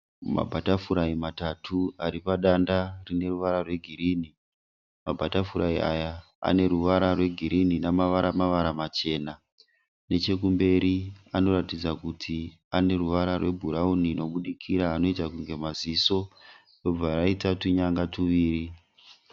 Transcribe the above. Abhatafurayi matatu ari padanda rine ruvara rwegirinhi. Mabhatafurayi aya ane ruvara rwegirinhi namavara mavara machena. Nechekumberi anoratidza kuti ane ruvara rwebhurawuni rwunobudikira anoita kunge maziso robva raita tunyanga tuviri.